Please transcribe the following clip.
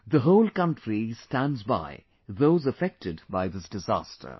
The whole country stands by those affected by this disaster